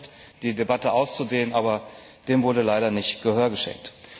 Wir haben versucht, die Debatte auszudehnen, aber dem wurde leider nicht Gehör geschenkt.